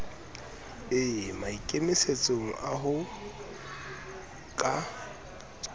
e maikemisetsong a ho ka